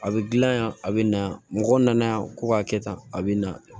A bɛ dilan yan a bɛ na mɔgɔ nana yan ko k'a kɛ tan a bɛ na